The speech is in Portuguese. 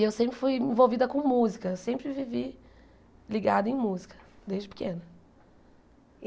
E eu sempre fui envolvida com música, sempre vivi ligada em música, desde pequena.